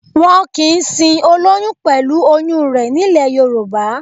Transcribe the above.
Wọn kìí sin olóyún pẹ̀lú oyún rẹ̀ nílẹ̀ Yorùbá